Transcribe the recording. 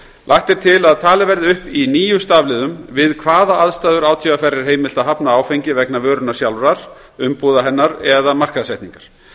lagt er til að talið verði upp í níu stafliðum við hvaða aðstæður átvr er heimilt að hafna áfengi vegna vörunnar sjálfrar umbúða hennar eða markaðssetningar